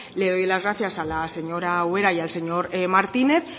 le doy las gracias a la señora ubera y al señor martínez